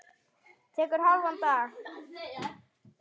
Tekur hálfan dag.